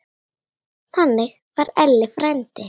Þannig var Elli frændi.